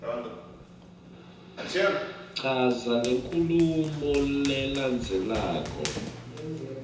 chaza lenkhulumo lelandzelako